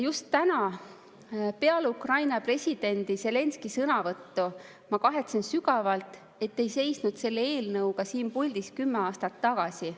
Just täna peale Ukraina presidendi Zelenskõi sõnavõttu ma kahetsesin sügavalt, et ei seisnud selle eelnõuga siin puldis kümme aastat tagasi.